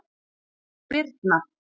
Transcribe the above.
Birna